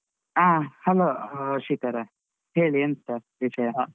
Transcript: ಆ hello ಶ್ರೀಕರ. ಹೇಳಿ ಎಂತ ವಿಷಯ.